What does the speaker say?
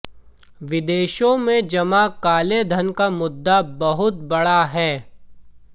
विदेशों में जमा काले धन का मुद्दा बहुत बड़ा है